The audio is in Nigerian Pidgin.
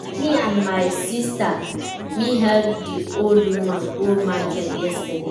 Na me and my sista me help di old woman go market yesterday.